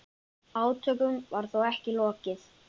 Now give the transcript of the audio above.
Átökum var þó ekki lokið.